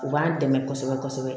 U b'an dɛmɛ kosɛbɛ kosɛbɛ